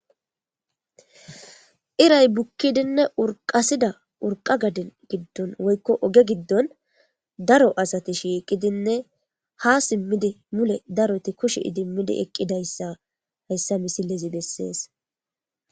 iray bukkidinne urqasida urqa gadin giddon woykko oge giddon daro asati shiiqidinne ha simmidi mule daroti kushi idimmidi eqqidayssa hayssa misilezi bessees